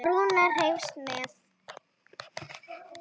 Og Rúna hreifst með.